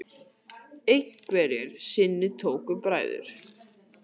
Einhverju sinni tóku bræður